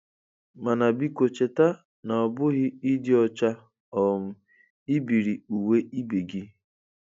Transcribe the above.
Mana biko cheta na ọ bụghị ịdị ọcha um ibiri uwe ibe gị.